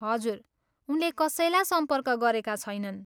हजुर, उनले कसैलाई सम्पर्क गरेका छैनन्।